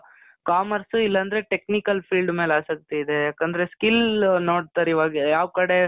commerce ಇಲ್ಲಾಂದ್ರೆ technical field ಮೇಲೆ ಆಸಕ್ತಿ ಇದೆ. ಯಾಕಂದ್ರೆ skill ನೋಡ್ತಾರೆ ಇವಾಗ ಯಾವ್ ಕಡೆ